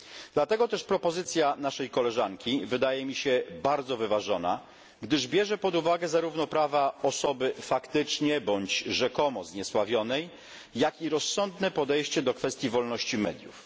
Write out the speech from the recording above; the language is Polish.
Dlatego też propozycja naszej koleżanki wydaje mi się bardzo wyważona, gdyż bierze pod uwagę zarówno prawa osoby faktycznie bądź rzekomo zniesławionej, jak i rozsądne podejście do kwestii wolności mediów.